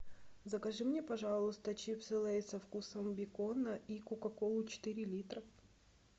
закажи мне пожалуйста чипсы лейс со вкусом бекона и кока колу четыре литра